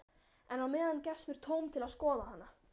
En á meðan gefst mér tóm til að skoða hana.